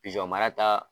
Pizɔn mara ta